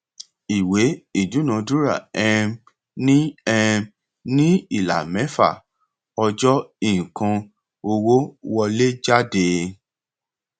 ìwé ìdúnadúrà um ní um ní ìlà mẹfà ọjọ nǹkan owó wọléjáde